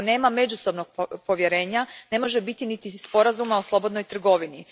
Ako nema međusobnog povjerenja, ne može biti niti sporazuma o slobodnoj trgovini.